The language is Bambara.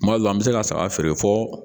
Kuma dɔ la an bɛ se ka saga feere fɔ